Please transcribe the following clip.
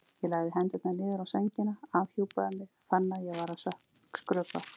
Ég lagði hendurnar niður á sængina, afhjúpaði mig, fann að ég var að skrökva.